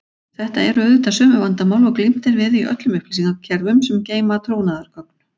Þetta eru auðvitað sömu vandamál og glímt er við í öllum upplýsingakerfum sem geyma trúnaðargögn.